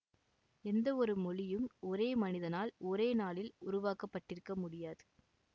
எந்த ஒரு மொழியும் ஒரே மனிதனால் ஒரே நாளில் உருவாக்க பட்டிருக்க முடியாது